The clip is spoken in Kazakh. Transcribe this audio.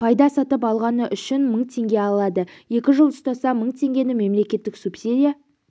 пайда сатып алғаны үшін мың теңге алады екі жыл ұстаса мың теңгені мемлекет субсидия